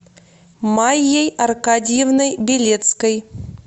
майей аркадьевной белецкой